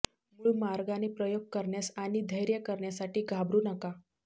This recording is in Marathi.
मूळ मार्गाने प्रयोग करण्यास आणि धैर्य करण्यासाठी घाबरू नका